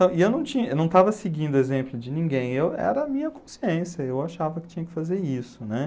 Só e eu não tinha, eu não estava seguindo o exemplo de ninguém, eu, era a minha consciência, eu achava que tinha que fazer isso, né?